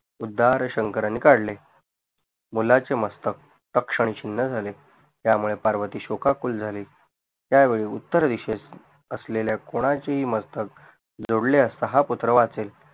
उददार शंकराने काढले मुलाचे मस्तक तक्ष आणि क्षिणण झाले त्यामुळे पार्वती शोकाकुल झाली त्यावेळी उत्तर दिशेत असलेल्या कोणाचेही मस्तक जोडले असता हा पुत्र वाचेल उददार शंकराने